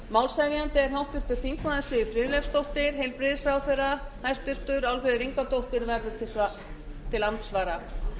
málshefjandi er háttvirtur þingmaður siv friðleifsdóttir hæstvirtur heilbrigðisráðherra álfheiður ingadóttir verður til andsvara